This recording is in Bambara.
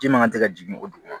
Ji man ka tɛ ka jigin o dugu